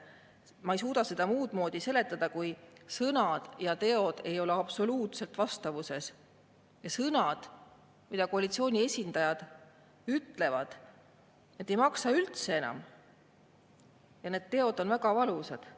Ma ei suuda seda muud moodi seletada, kui et sõnad ja teod ei ole absoluutselt vastavuses, ja sõnad, mida koalitsiooni esindajad ütlevad, need ei maksa enam üldse, ja need teod on väga valusad.